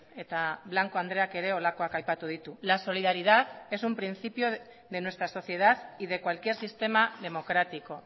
eta blanco andreak ere holakoak aipatu ditu la solidaridad es un principio de nuestra sociedad y de cualquier sistema democrático